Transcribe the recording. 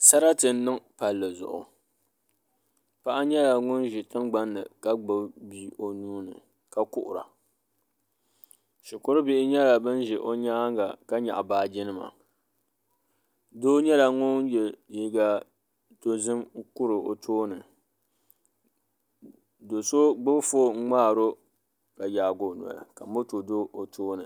Sarati n niŋ palli zuɣu paɣa nyɛla ŋun ʒi tingbanni ka gbubi bia o nuuni ka kuhura shikuru bihi nyɛla bin ʒɛ o nyaanga ka nyaɣa baaji nima doo nyɛla ŋun yɛ liiga dozim n kuri o tooni do so gbubi foon ŋmaaro ka yaagi o noli ka moto do o tooni